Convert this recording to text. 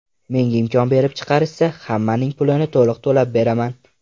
Menga imkon berib chiqarishsa, hammaning pulini to‘liq to‘lab beraman.